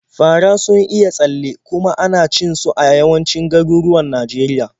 Fara sun iya tsalle, kuma ana cin su a yawancin garuruwan Najeriya.